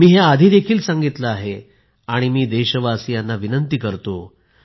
मी हे आधी देखील सांगितले आहे आणि मी देशवासियांना विनंती करतो